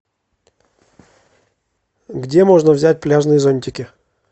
где можно взять пляжные зонтики